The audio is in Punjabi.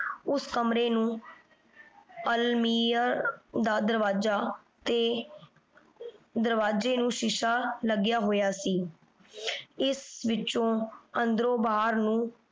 ਊ ਕਮਰੇ ਨੂ ਅਲ੍ਮੀਅਰ ਦਾ ਦਰਵਾਜ਼ਾ ਤੇ ਦਾਰ੍ਵਾਜ੍ਯ ਨੂ ਸ਼ੀਸ਼ਾ ਲਾਗ੍ਯ ਹੋਯਾ ਸੀ ਏਸ ਵਿਚੋਂ ਅੰਦਰੋ ਬਹਿਰ ਨੂ